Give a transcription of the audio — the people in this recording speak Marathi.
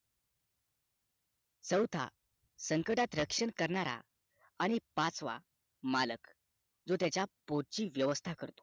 चौथा संकटात रक्षण करणारा आणि पाचवा मालक जो त्यांचा पोट ची व्यवस्था करतो